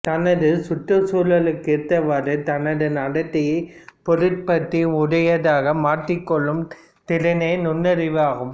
தனது சுற்றுச் சூழலுக்குத்தக்கவாறு தனது நடத்தையை பொருத்தப்பாடு உடையதாக மாற்றிக் கொள்ளும் திறனே நுண்ணறிவு ஆகும்